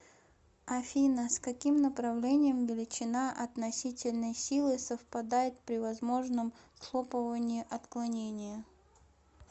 афина с каким направлением величина относительной силы совпадает при возможном схлопывании отклонения